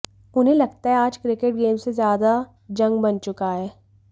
उन्हें लगता है आज क्रिकेट गेम से ज्यादा जंग बन चुका है